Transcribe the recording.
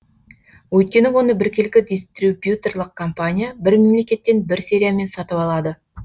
өйткені оны біркелкі дистрибьюторлық компания бір мемлекеттен бір сериямен сатып алады